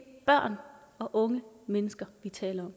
børn og unge mennesker vi taler